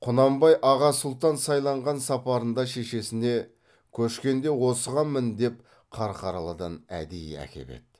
құнанбай аға сұлтан сайланған сапарында шешесіне көшкенде осыған мін деп қарқаралыдан әдейі әкеп еді